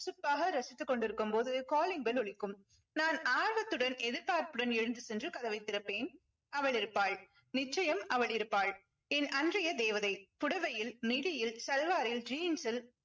ரசித்துக் கொண்டிருக்கும் போது calling bell ஒலிக்கும். நான் ஆர்வத்துடன் எதிர்பார்ப்புடன் எழுந்து சென்று கதவை திறப்பேன் அவள் இருப்பாள் நிச்சயம் அவள் இருப்பாள் என் அன்றைய தேவதை. புடவையில் midi யில் salwar ல் jeans ல்